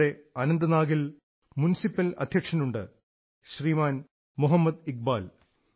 ഇവിടെ അനന്തനാഗിൽ മുനിസിപ്പൽ അധ്യക്ഷനുണ്ട് ശ്രീമൻ മോഹമ്മദ് ഇക്ബാൽ